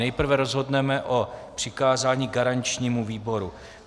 Nejprve rozhodneme o přikázání garančnímu výboru.